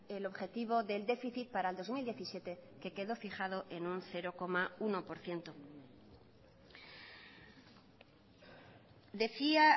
el objetivo del déficit para el dos mil diecisiete que quedó fijado en un cero coma uno por ciento decía